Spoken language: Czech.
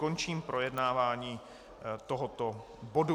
Končím projednávání tohoto bodu.